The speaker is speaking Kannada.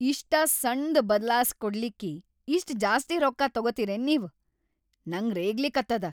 ಇಷ್ಟ ಸಣ್ದ್‌ ಬದ್ಲಾಸಿಕೊಡ್ಲಿಕ್ಕಿ ಇಷ್ಟ್‌ ಜಾಸ್ತಿ ರೊಕ್ಕಾ ತೊಗೊತಿರೇನ್‌ ನೀವ್.. ನಂಗ್ ರೇಗ್ಲಿಕತ್ತದ.